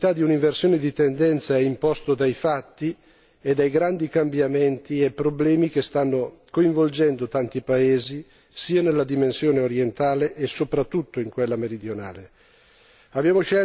Che vi sia la necessità di un'inversione di tendenza è imposto dai fatti e dai grandi cambiamenti e problemi che stanno coinvolgendo tanti paesi sia nella dimensione orientale sia, soprattutto, in quella meridionale.